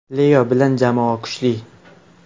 Leo bilan jamoa kuchli.